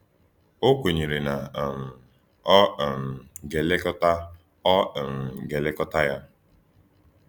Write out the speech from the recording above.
Ọ kwenyere na um ọ um ga-elekọta ọ um ga-elekọta ya.